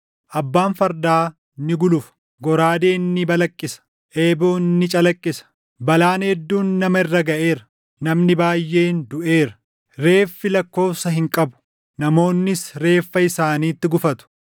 Abbaan fardaa ni gulufa; goraadeen ni balaqqisa; eeboon ni calaqqisa! Balaan hedduun nama irra gaʼeera; namni baayʼeen duʼeera; reeffi lakkoobsa hin qabu; namoonnis reeffa isaaniitti gufatu;